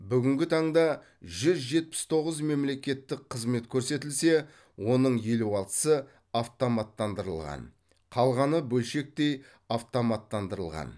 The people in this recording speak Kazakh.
бүгінгі таңда жүз жетпіс тоғыз мемлекеттік қызмет көрсетілсе оның елу алтысы автоматтандырылған қалғаны бөлшектей автоматтандырылған